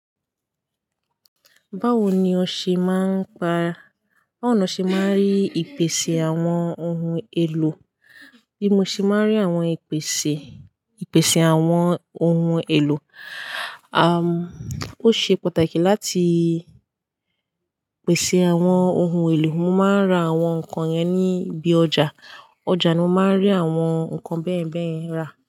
Báwo ni o ṣe máa ń pa, báwo ni o ṣe máa ń rí ìpèsè àwọn ohun èlò? Bí mo ṣe máa ń rí àwọn ìpèsè, ìpèsè àwọn ohun èlò, à, ó ṣe pàtàkì láti pèsè àwọn ohun èlò. Mo máa ń ra àwọn nǹkan yẹn ní ibi ọjà. Ọjà ni mo máa ń rí àwọn nǹkan bẹ́ẹ̀bẹ́ẹ̀ ra.